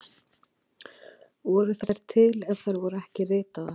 Voru þær til ef þær voru ekki ritaðar?